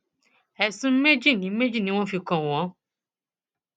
ẹsùn méjì ni méjì ni wọn fi kàn wọn